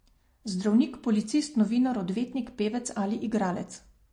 Zdravnik, policist, novinar, odvetnik, pevec ali igralec.